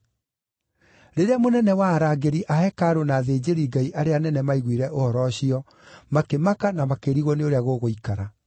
Rĩrĩa mũnene wa arangĩri a hekarũ na athĩnjĩri-Ngai arĩa anene maiguire ũhoro ũcio makĩmaka na makĩrigwo nĩ ũrĩa gũgũikara.